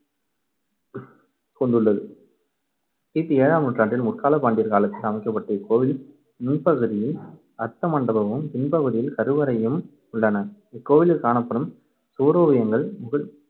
கொண்டுள்ளது. கி பி ஏழாம் நூற்றாண்டில் முற்காலப் பாண்டியர் காலத்தில் அமைக்கப்பட்ட இக்கோவில் முன்பகுதியில் அர்த்த மண்டபமும் பின்பகுதியில் கருவறையும் உள்ளன. இக்கோவிலில் காணப்படும் சுவரோவியங்கள்